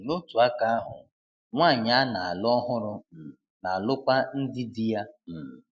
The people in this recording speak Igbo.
um N'otu aka ahụ, nwanyị a na-alụ ọhụrụ um na-alụkwa ndị di ya. um